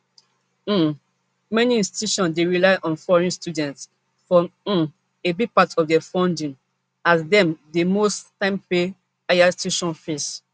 um many institutions dey rely on foreign students for um a big part of dia funding as dem dey most times pay higher tuition fees